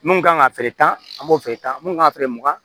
Mun kan ka feere tan an b'o feere tan mun kan ka feere mu